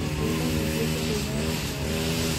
Ingĩenda ningĩ kũhũra mbica nyingĩ.